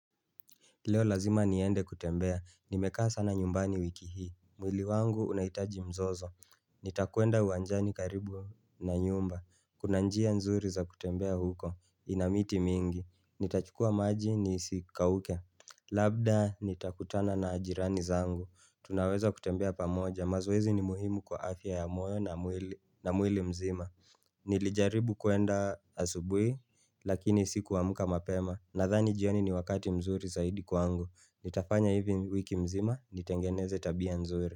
Leo lazima niende kutembea, nimekaa sana nyumbani wiki hii, mwili wangu unahitaji mzozo Nitakwenda uwanjani karibu na nyumba, kuna njia nzuri za kutembea huko, ina miti mingi Nitachukua maji nisikauke, labda nitakutana na jirani zangu Tunaweza kutembea pamoja, mazoezi ni muhimu kwa afya ya moyo na mwili mzima Nilijaribu kuenda asubuhi, lakini si kuamka mapema Nadhani jioni ni wakati mzuri zaidi kwangu Nitafanya hivi wiki mzima nitengeneze tabia mzuri.